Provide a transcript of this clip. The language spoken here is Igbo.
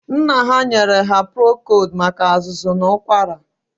Nna ha nyere ha prokod maka azụzụ na ụkwara.